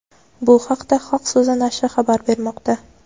Bu haqda "Xalq so‘zi" nashri xabar bermoqda.